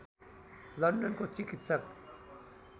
लन्डनको चिकित्सक